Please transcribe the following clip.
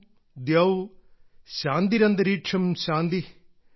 ഓം ദ്യൌ ശാന്തിരന്തരീക്ഷം ശാന്തി